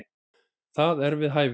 Það er við hæfi.